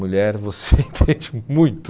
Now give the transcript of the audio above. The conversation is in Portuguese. Mulher você entende muito.